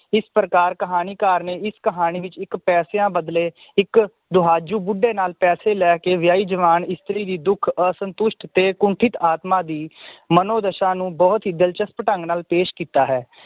ਇਸ ਪ੍ਰਕਾਰ ਕਹਾਣੀ ਕਰ ਨੇ ਇਸ ਕਹਾਣੀ ਵਿਚ ਇਕ ਪੈਸਿਆਂ ਬਦਲੇ ਇੱਕ ਦੁਹਾਜੂ ਬੁੱਢੇ ਨਾਲ ਪੈਸੇ ਲੈਕੇ ਵਿਆਹੀ ਜਵਾਨ ਇਸਤਰੀ ਵੀ ਦੁੱਖ ਅੰਤੁਸ਼ਟ ਤੇ ਕੁੰਠਿਤ ਆਤਮਾ ਦੀ ਮਨੋਦਸ਼ਾ ਨੂੰ ਬਹੁਤ ਹੀ ਦਿਲਚਸਪ ਢੰਗ ਨਾਲ ਪੇਸ਼ ਕੀਤਾ ਹੈ